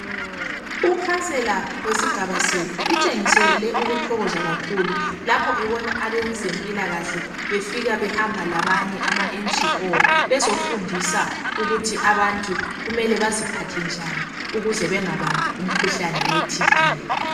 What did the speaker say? Ukhansela wesigaba sethu utshengisele ukuthokoza kakhulu lapho abezempilakahle befika behamba labanye (ama NGO), bezofundisa ukuthi abantu kumele baziphathe njani ukuze bengabambi umkhuhlane we thibhi.